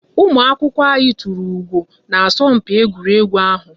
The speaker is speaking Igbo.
Ụmụ akwụkwọ anyị tụrụ ugo na asọmpi egwuregwu ahu